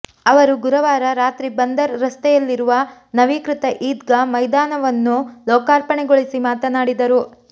ಅವರು ಗುರುವಾರ ರಾತ್ರಿ ಬಂದರ್ ರಸ್ತೆಯಲ್ಲಿರುವ ನವೀಕೃತ ಈದ್ಗಾ ಮೈದಾನವನ್ನು ಲೋಕಾರ್ಪಣೆಗೊಳಿಸಿ ಮಾತನಾಡಿದರು